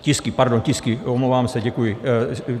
Tisky, pardon, tisky, omlouvám se, děkuji.